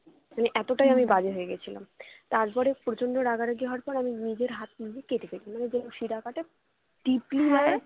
মানে এতটাই আমি বাজে হয়ে গেছিলাম তারপরে প্রচন্ড রাগারাগি হয়ে যাওয়ার পরে আমি নিজের হাত নিজেই কেটে ফেলি মানে যেমন শিরা কাটে deeply ভাবে